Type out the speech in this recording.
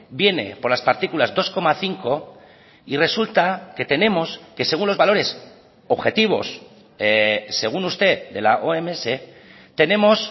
viene por las partículas dos coma cinco y resulta que tenemos que según los valores objetivos según usted de la oms tenemos